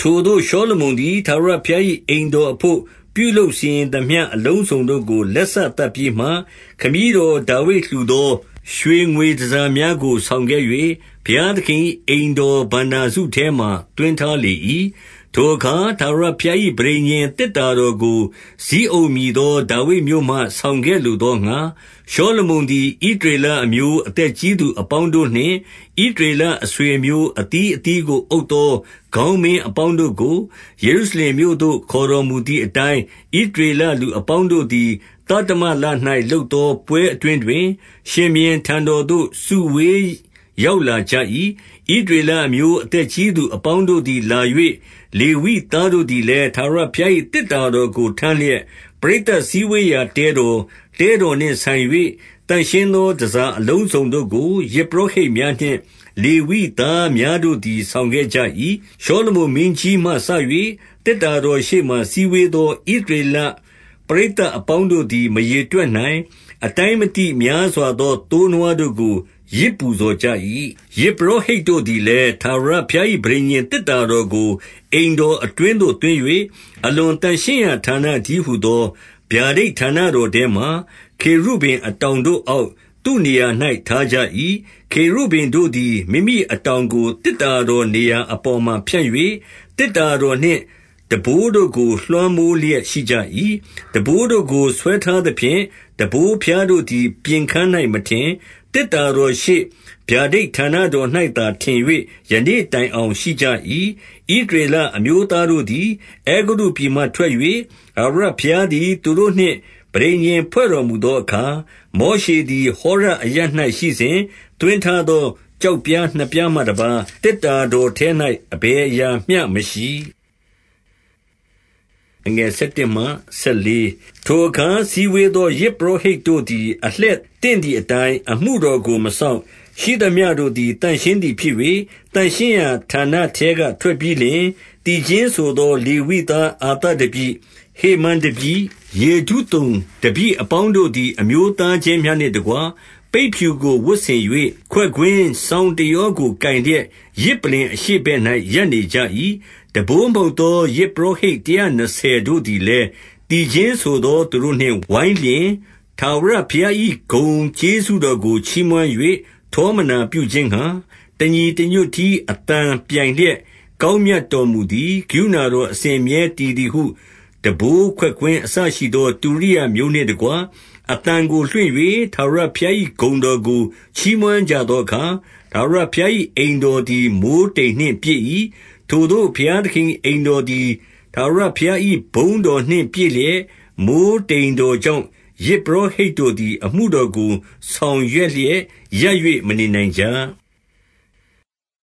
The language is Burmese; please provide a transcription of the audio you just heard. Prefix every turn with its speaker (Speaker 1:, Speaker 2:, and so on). Speaker 1: ထိုသို့ရှောလမုန်သည် ထာဝရဘုရား၏ အိမ်တော်အဘို့ ပြုလုပ်စီရင်သမျှ အလုံးစုံတို့ကို လက် စသတ်ပြီးမှ၊ ခမည်းတော်ဒါဝိဒ်လှူသော ရွှေငွေတန်ဆာ များတို့ဆောင်ခဲ့၍ ဘုရားသခင်၏အိမ်တော်ဘဏ္ဍာစုထဲ မှာသွင်းထားလေ၏။ 2 ထိုအခါထာဝရဘုရား၏ ပဋိညာဉ်သေတ္တာ တော်ကို၊ ဇိအုန်မည်သော ဒါဝိဒ်မြို့မှာ ဆောင်ခဲ့လိုသော ငှါ၊ ရှောလမုန်သည်။ ဣသရေလအသက်ကြီးသူ အပေါင်းတို့နှင့် ဣသရေလအဆွေအမျိုးအသီးအသီးကို အုပ်သောခေါင်းမင်းအပေါင်းတို့ကို၊ ယေရုရှလင်မြို့သို့ ခေါ်တော်မူသည်အတိုင်း၊ 3 ဣသရေလလူအပေါင်းတို့သည်၊ သတ္တမလ၌ လုပ်သော ပွဲအတွင်းတွင်၊ ရှင်ဘုရင်ထံတော်သို့ စုဝေး ရောက်လာကြ၏။ 4 ဣသရေလအမျိုး အသက်ကြီးသူအပေါင်းတို့ သည် လာ၍ လေဝိသားတို့သည်လည်း ထာဝရဘုရား၏ သေတ္တာတော်ကိုထမ်းလျက်၊ 5 ပရိသတ်စည်းဝေးရာတဲတော်၊ တဲတော်နှင့် ဆိုင် ၍၊ သန့်ရှင်းသော တန်ဆာအလုံးစုံတို့ကို ယဇ်ပုရောဟိတ် များနှင့် လေဝိသားများတို့သည် ဆောင်ခဲ့ကြ၏။ 6 ရှောလမုန်မင်းကြီးမှစ၍ သေတ္တာတော်ရှေ့မှာ စည်းဝေးသော ဣသရေလပရိသတ်အပေါင်းတို့သည် မရေတွက်နိုင်၊ အတိုင်းမသိ များစွာသော သိုးနွားတို့ကို ယဇ်ပူဇော်ကြ၏။ 7 ယဇ်ပုရောဟိတ်တို့သည်လည်း ထာဝရဘုရား၏ ပဋိညာဉ်သေတ္တာတော်ကို အိမ်တော်အတွင်းသို့သွင်း၍ အလွန်သန့်ရှင်းရာဌာနတည်းဟူသော ဗျာဒိတ်ဌာနတော် ထဲမှာ၊ ခေရုဗိမ်အတောင်တို့အောက်၊ သူ့နေရာ၌ ထားကြ ၏။ 8 ခေရုဗိမ်တို့သည် မိမိအတောင်ကို သေတ္တာတော် နေရာအပေါ်မှာ ဖြန့်၍၊ သေတ္တာတော်နှင့် ထမ်းဘိုးတို့ကို လွှမ်းမိုးလျက်ရှိကြ၏။ 9 ထမ်းဘိုးတို့ကို ဆွဲထားသဖြင့်၊ ထမ်းဘိုးဖျားတို့ သည် ပြင်ခန်း၌ မထင်၊ သေတ္တာတော်ရှေ့ ဗျာဒိတ်ဌာန တော်၌သာ ထင်၍ယနေ့တိုင်အောင် ရှိကြ၏။ 10 ဣသရေလ အမျိုးသားတို့သည် အဲဂုတ္တုပြည်မှ ထွက်၍၊ ထာဝရဘုရားသည် သူတို့နှင့်ပဋိညာဉ်ဖွဲ့တော်မူ သောအခါ၊ မောရှေသည် ဟောရဂပ်အရပ်၌ရှိစဉ် သွင်း ထားသော ကျောက်ပြားနှစ်ပြားမှတပါးသေတ္တာတော်ထဲ၌ အဘယ်အရာမရှိ။ 11 ထိုအခါစည်းဝေးသော ယဇ်ပုရောဟိတ်တို့သည် အလှည့်သင့်သည်အတိုင်း အမှုတော်ကို မစောင့်၊ ရှိသမျှ တို့သည် သန့်ရှင်းသည်ဖြစ်၍ သန့်ရှင်းရာဌာနထဲက ထွက်ပြီးလျှင်၊ 12 သီချင်းဆိုသော လေဝိသားအာသပ်တပည့်၊ ဟေမန်တပည့်၊ ယေဒုသုန်တပည့်အပေါင်းတို့သည် အမျိုးသားချင်းများနှင့်တကွ ပိတ်ဖြူကို ဝတ်ဆင်၍၊ ခွက်ကွင်းစောင်းတယောကို ကိုင်လျက် ယဇ်ပလ္လင်အရှေ့ ဘက်၌ ရပ်နေကြ၏။ တံပိုးမှုတ်သော ယဇ်ပုရောဟိတ် တရာနှစ်ဆယ်တို့သည်လည်း၊ 13 သီချင်းဆိုသောသူတို့နှင့်ဝိုင်းလျှင်၊ ထာဝရဘုရား ၏ ဂုဏ်ကျေးဇူးတော်ကို ချီးမွမ်း၍ ထောမနာပြုခြင်းငှါ၊ တညီတညွတ်တည်း အသံပြိုင်လျက်၊ ကောင်းမြတ်တော် မူသည်။ ကရုဏာတော်အစဉ်အမြဲတည်သည်ဟု တံပိုး ခွက်ကွင်းအစရှိသောတုရိယာမျိုးနှင့်တကွ၊ အသံကိုလွှင့်၍ ထာဝရဘုရား၏ ဂုဏ်တော်ကို ချီးမွမ်းကြသောအခါ၊ ထာဝရ ဘုရား၏အိမ်တော်သည် မိုဃ်းတိမ်နှင့်ပြည့်၏။ 14 ထိုသို့ဘုရားသခင်၏ အိမ်တော်သည် ထာဝရ ဘုရား၏ ဘုန်းတော်နှင့်ပြည့်လျက်၊ မိုဃ်းတိမ်တော် ကြောင့် ယဇ်ပုရောဟိတ်တို့သည် အမှုတော်ကို ဆောင် ရွက်လျက်ရပ်၍ မနေနိုင်ကြ။